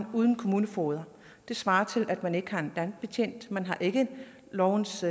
uden kommunefogeder det svarer til at man ikke har en landbetjent man har ikke en lovens